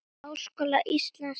Háskóla Íslands en áður.